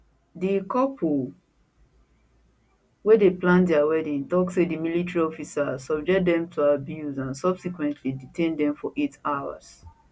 di couple wey dey plan dia wedding tok say di military officers subject dem to abuse and subsequently detain dem for eight hours